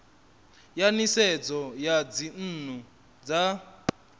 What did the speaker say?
ya nisedzo ya dzinnu dza